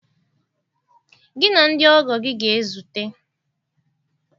Gị na ndị ọgọ gị ga-ezute